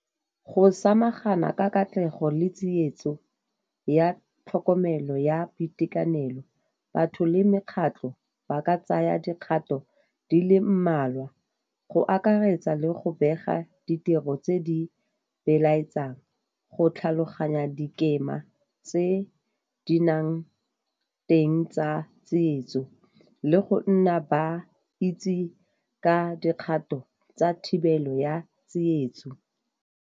Go samagana ka katlego le tsietso ya tlhokomelo ya boitekanelo, batho le mekgatlo ba ka tsaya dikgato di le mmalwa, go akaretsa le go bega ditiro tse di belaetsang go tlhaloganya dikema tse di nang teng tsa tsietso le go nna ba itse ka dikgato tsa thibelo ya tsietso.